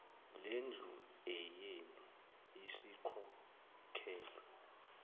lendlu eyenu isikhokhelwe